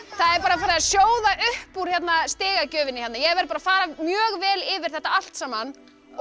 það er bara farið að sjóða upp úr stigagjöfinni hérna ég verð að fara mjög vel yfir þetta allt saman